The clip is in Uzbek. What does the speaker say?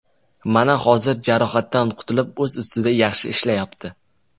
Mana hozir jarohatdan qutulib o‘z ustida yaxshi ishlayapti.